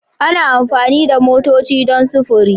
Ana amfani da motoci don sufuri